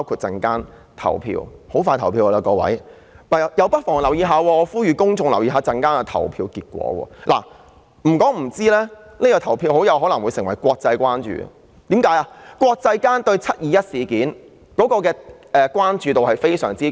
大家很快便要投票，我呼籲公眾留意稍後的投票結果，因為這次的投票結果很可能會成為國際關注的事情，因為國際間對"七二一"事件有非常高的關注度。